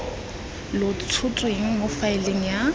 lo tshotsweng mo faeleng ya